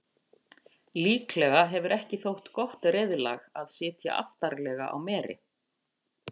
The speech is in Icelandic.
Líklega hefur ekki þótt gott reiðlag að sitja aftarlega á meri.